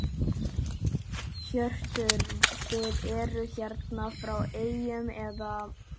Hjörtur: Þið eruð hérna frá eyjum eða?